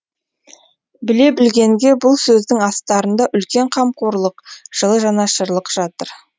біле білгенге бұл сөздің астарында үлкен қамқорлық жылы жанашырлық жатыр